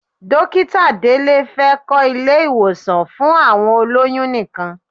Dókítà Délé fẹ́ kọ́ ilé-ìwọ̀sàn fún àwọn olóyún nìkan.